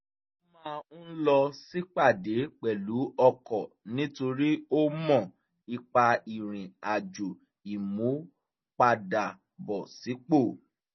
ó máa ń lọ sípàdé pẹ̀lú ọkọ nítorí ó mọ ipa ìrìn àjò ìmúpadàbọ̀sípò